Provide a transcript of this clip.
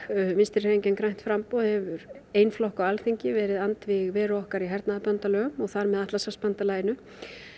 Vinstri hreyfingin grænt framboð hefur ein flokka á Alþingi verið andvíg veru okkar í hernaðarbandalögum og þar með Atlantshafsbandalaginu